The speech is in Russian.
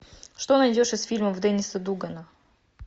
что найдешь из фильмов денниса дугана